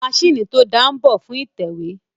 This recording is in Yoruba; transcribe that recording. Àwọn maṣíìnì tó dáa si mbọ̀ fún ìtẹ̀wé